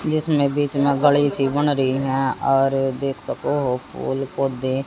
जिसमें बीच में गणेश जी बन रही है और देख सको हो फूल को दे--